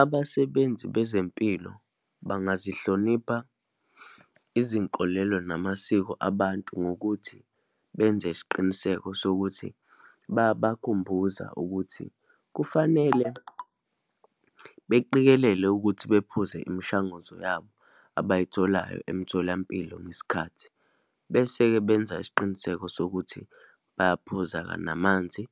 Abasebenzi bezempilo bangazihlonipha izinkolelo namasiko abantu, ngokuthi benze isiqiniseko sokuthi bayabakhumbuza ukuthi kufanele beqikelele ukuthi bephuze imishanguzo yabo abayitholayo emtholampilo ngesikhathi. Bese-ke benza isiqiniseko sokuthi bayaphuza-ke namanzi,